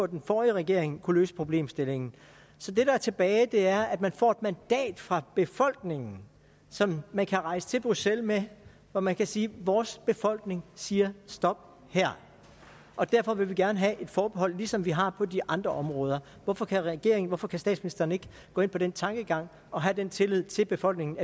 den forrige regering kunne løse problemstillingen så det der er tilbage er at man får et mandat fra befolkningen som man kan rejse til bruxelles med hvor man kan sige vores befolkning siger stop her og derfor vil vi gerne have et forbehold ligesom vi har på de andre områder hvorfor kan regeringen hvorfor kan statsministeren ikke gå ind på den tankegang og have den tillid til befolkningen